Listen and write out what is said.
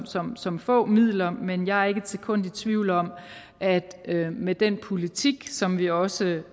som som få midler men jeg er ikke et sekund i tvivl om at med den politik som vi også